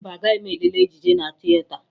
Mba, agaghị m lelee ejije na tieta